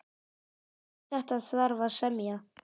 Um þetta þarf að semja.